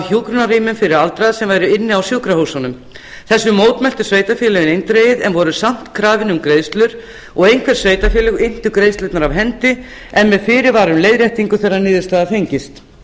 hjúkrunarrýmum fyrir aldraða sem væru inni á sjúkrahúsunum þessu mótmæltu sveitarfélögin eindregið en voru samt krafin um greiðslur og einhver sveitarfélög inntu greiðslurnar af hendi en með fyrirvara um leiðréttingu þegar niðurstaða fengist